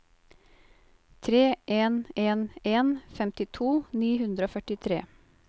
tre en en en femtito ni hundre og førtitre